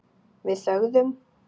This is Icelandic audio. Við þögðum.